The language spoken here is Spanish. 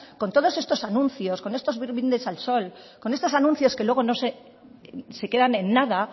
con todos estos anuncios con estos brindis al sol con estos anuncios que luego se quedan en nada